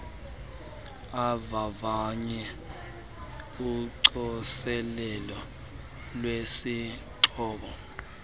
avavanye ucoselelo lwesixhobo